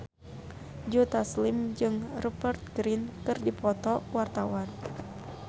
Joe Taslim jeung Rupert Grin keur dipoto ku wartawan